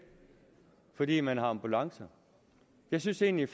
fordi man har ambulancer jeg synes egentlig